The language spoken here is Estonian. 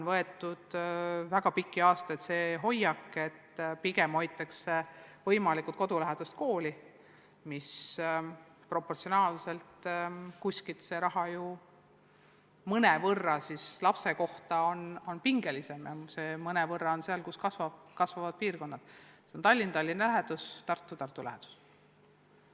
Väga pikki aastaid on meil valitsenud hoiak, et pigem püütakse kodulähedasi koole töös hoida, mis tähendab, et proportsionaalselt on lapse kohta makstav summa mõnevõrra suurem kui kasvavates piirkondades nagu Tallinn ja Tallinna ümbruskond ning Tartu ja Tartu ümbruskond.